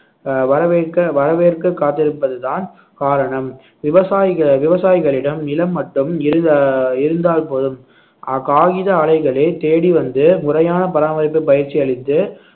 அஹ் வரவேற்க வரவேற்க காத்திருப்பது தான் காரணம் விவசாயிக~ விவசாயிகளிடம் நிலம் மட்டும் இருதா~ இருந்தால் போதும் அஹ் காகித அலைகளே தேடி வந்து முறையான பராமரிப்பு பயிற்சி அளித்து